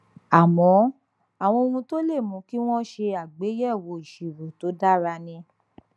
àmọ àwọn ohun tó lè mú kí wọn ṣe àgbéyẹwò ìṣirò tó dára ni